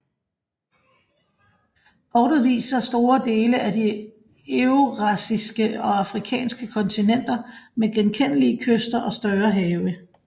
Kortet viser store dele af de eurasiske og afrikanske kontinenter med genkendelige kyster og større have